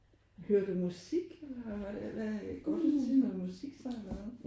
Hører du musik? Eller hvad går du til noget musik så eller hvad?